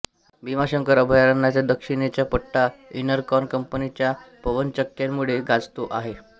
भीमाशंकर अभयारण्याच्या दक्षिणेचा पट्टा इनरकॉन कंपनीच्या पवनचक्क्यांमुळे गाजतो आहे